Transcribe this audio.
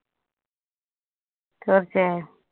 തീര്‍ച്ചയായും.